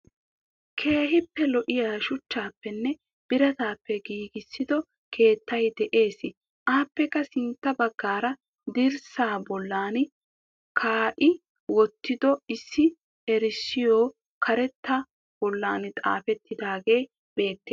Keehippe lo7iyaa shuchchappenne biraattappee giggissido keettay de7ees. Appekkaa sintta baggara dirrsaa bollaan kaqi wotido issi eerisoy kareetaa bollan xafetidagee beettees.